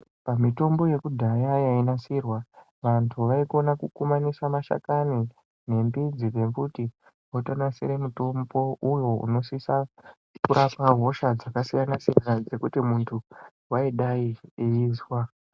Pamitombo yekudhaya yainasirwa, vantu vaikona kukumanisa mashakani endudzi dzemiti votonasire mutombo uyo unosisa kurapa hosha dzakasiyana-siyana dzekuti muntu waidai eizwa.